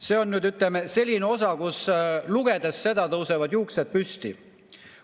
See on, ütleme, selline osa, mida lugedes tõusevad juuksed püsti.